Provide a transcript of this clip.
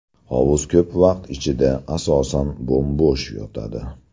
Hovuz ko‘p vaqt ichida, asosan, bo‘m-bo‘sh yotadi.